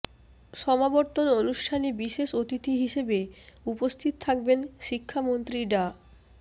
সমাবর্তন অনুষ্ঠানে বিশেষ অতিথি হিসেবে উপস্থিত থাকবেন শিক্ষামন্ত্রী ডা